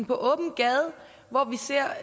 på åben gade hvor vi ser